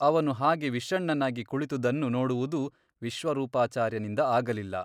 ಅವನು ಹಾಗೆ ವಿಷಣ್ಣನಾಗಿ ಕುಳಿತುದನ್ನು ನೋಡುವುದು ವಿಶ್ವರೂಪಾಚಾರ್ಯನಿಂದ ಆಗಲಿಲ್ಲ.